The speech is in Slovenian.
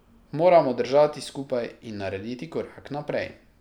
Moramo držati skupaj in narediti korak naprej.